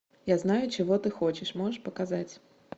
я знаю чего ты хочешь можешь показать